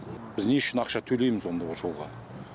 біз не үшін ақша төлейміз онда ол жолға